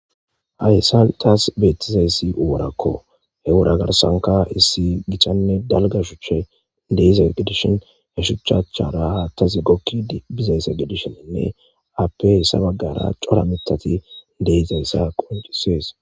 hayssa taas beetizeysi uworakko he wora garsanka issi gichanne dalgashuche deize gidishin ha shuchachchara haattazi gokki bizayse gidishininne appessabaggara cora mitati deizayssa qoncisees